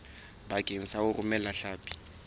bakeng sa ho romela hlapi